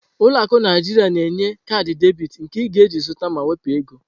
Ụlọ akụ Naijiria na-enye kaadị debit, nke ị na-eji zụta ma wepụ ego.